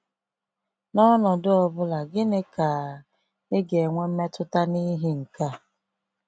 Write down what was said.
N’ọnọdụ ọ bụla, gịnị ka ị ga-enwe mmetụta n’ihi nke a?